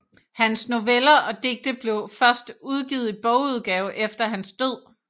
Hans noveller og digte blev først udgivet i bogudgave efter hans død